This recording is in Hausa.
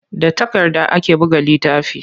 Da takarda ake buga littafi.